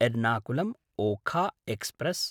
एर्नाकुलं–ओखा express